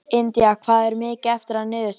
Indía, hvað er mikið eftir af niðurteljaranum?